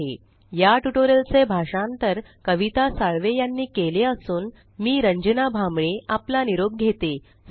spoken tutorialorgnmeict intro या tutorial चे भाषांतर आवाज कविता साळवे यानी केले असून आवाज रंजना भांबळे यांचा आहे